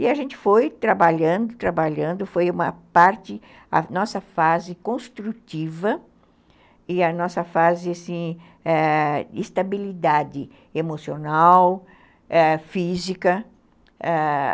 E a gente foi trabalhando, trabalhando, foi uma parte, a nossa fase construtiva e a nossa fase, ãh, assim, estabilidade emocional, física, ãh